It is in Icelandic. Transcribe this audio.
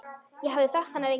Ég hafði þekkt hana lengi.